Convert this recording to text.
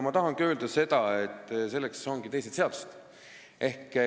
Ma tahan öelda, et selleks on teised seadused.